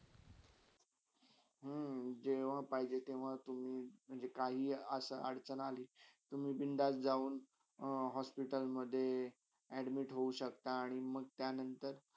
हम्म जेव्हा पाहिजे तेव्हा तुम्ही म्हणजे काही असा अडचण आली तुम्ही बिंदास जाऊन hospital मध admit हो शक्ता आणि मंग त्यानंतर.